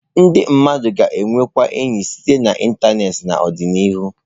Ndị mmadụ ga-enwekwu enyi site na ịntanetị n'ọdịnihu